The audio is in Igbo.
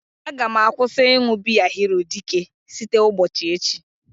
Aga m akwụsị ịṅụ biya hero dike site ụgbochi echi